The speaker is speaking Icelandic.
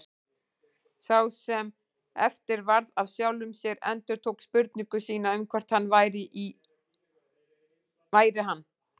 Sá sem eftir varð af sjálfum sér endurtók spurningu sína um hvort hann væri hann.